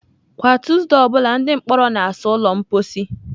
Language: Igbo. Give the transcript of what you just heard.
Kwa Tuesday ọ bụla, ndị mkpọrọ na-asa ụlọ mposi.